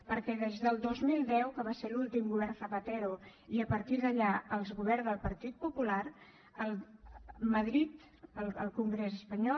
perquè des del dos mil deu que va ser l’últim govern zapatero i a partir d’allà els governs del partit popular madrid el congrés espanyol